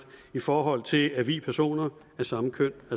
i forhold til at vie personer af samme køn